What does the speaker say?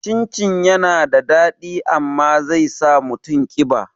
Cin cin yana da daɗi amma zai sa mutum ƙiba